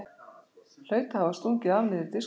Hlaut að hafa stungið af niður í diskótekið.